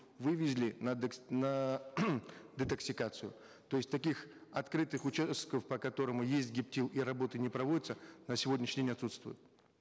вывезли на на детоксикацию то есть таких открытых участков по которому есть гептил и работы не проводятся на сегодняшний день отсутствуют